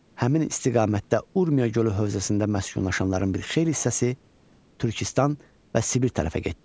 Həmin istiqamətdə Urmiya gölü hövzəsində məskunlaşanların bir xeyli hissəsi Türkistan və Sibir tərəfə getdi.